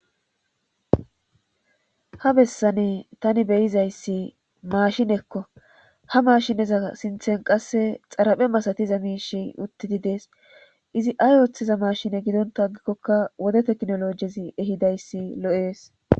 Ha bessani tani beyizayssi maashinekko ha maashineza sinthen qasse xaraphe masatiza miishey uttidi dees izi ay ooththiza maashine gidonta gikkokka wode teknolojezi ehidayssi lo7ees.